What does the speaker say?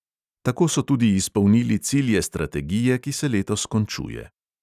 Tako so tudi izpolnili cilje strategije, ki se letos končuje.